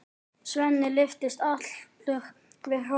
Svenni lyftist allur við hrósið.